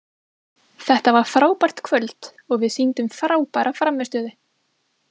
Þetta var frábært kvöld og við sýndum frábæra frammistöðu.